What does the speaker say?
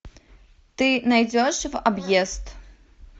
ты найдешь в объезд